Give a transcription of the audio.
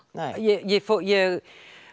ég ég